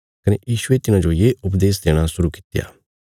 कने यीशुये तिन्हांजो ये उपदेश देणा शुरु कित्या